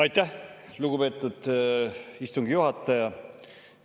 Aitäh, lugupeetud istungi juhataja!